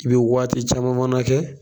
I bi waati caman fana kɛ